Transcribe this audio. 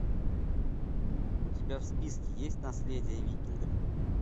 у тебя в списке есть наследие викингов